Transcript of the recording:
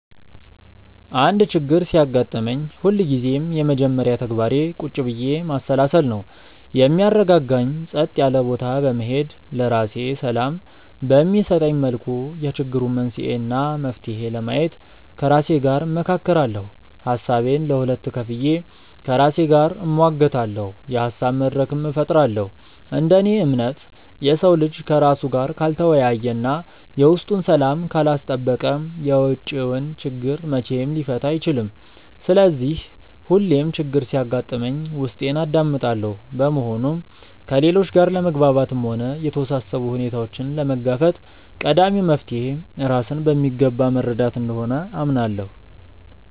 አንድ ችግር ሲያጋጥመኝ ሁልጊዜም የመጀመሪያ ተግባሬ ቁጭ ብዬ ማሰላሰል ነው። የሚያረጋጋኝ ጸጥ ያለ ቦታ በመሄድ፣ ለራሴ ሰላም በሚሰጠኝ መልኩ የችግሩን መንስኤ እና መፍትሄ ለማየት ከራሴ ጋር እመካከራለሁ። ሀሳቤን ለሁለት ከፍዬ ከራሴ ጋር እሟገታለሁ፤ የሀሳብ መድረክም እፈጥራለሁ። እንደ እኔ እምነት፣ የሰው ልጅ ከራሱ ጋር ካልተወያየ እና የውስጡን ሰላም ካላስጠበቀ የውጪውን ችግር መቼም ሊፈታ አይችልም። ስለዚህ ሁሌም ችግር ሲያጋጥመኝ ውስጤን አዳምጣለሁ። በመሆኑም ከሌሎች ጋር ለመግባባትም ሆነ የተወሳሰቡ ሁኔታዎችን ለመጋፈጥ ቀዳሚው መፍትሔ ራስን በሚገባ መረዳት እንደሆነ አምናለሁ።